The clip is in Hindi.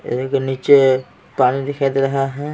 नीचे पानी दिखाई दे रहा है।